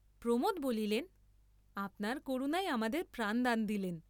প্রমোদ বলিলেন, আপনার করুণায় আমাদের প্রাণদান দিলেন।